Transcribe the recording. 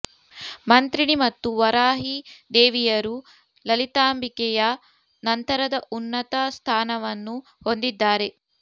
ಮಂತ್ರಿಣೀ ಮತ್ತು ವಾರಾಹೀ ದೇವಿಯರು ಲಲಿತಾಂಬಿಕೆಯ ನಂತರದ ಉನ್ನತ ಸ್ಥಾನವನ್ನು ಹೊಂದಿದ್ದಾರೆ